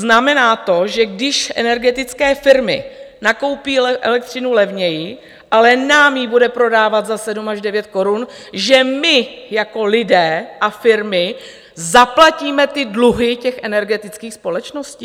Znamená to, že když energetické firmy nakoupí elektřinu levněji, ale nám ji budou prodávat za 7 až 9 korun, že my jako lidé a firmy zaplatíme ty dluhy těch energetických společností?